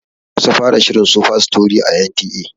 An kusa fara shirin "Superstory"a N T A.